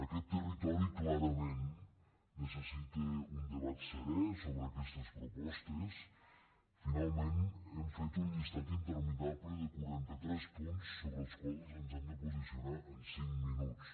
aquest territori clarament necessita un debat serè so·bre aquestes propostes finalment hem fet un llistat interminable de quaranta·tres punts sobre els quals ens hem de posicionar en cinc minuts